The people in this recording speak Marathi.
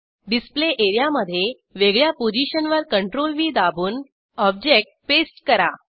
डिस्प्ले एरियामधे वेगळ्या पोझिशनवर CTRLV दाबून ऑब्जेक्ट पेस्ट करा